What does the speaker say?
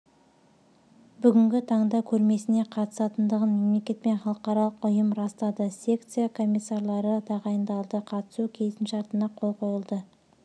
бүгінгі таңда көрмесіне қатысатындығын мемлекет пен халықаралық ұйым растады секция комиссарлары тағайындалды қатысу келісімшартына қол қойылды